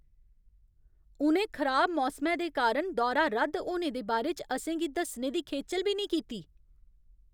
उ'नें खराब मौसमै दे कारण दौरा रद्द होने दे बारे च असें गी दस्सने दी खेचल बी नेईं कीती।